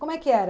Como é que era?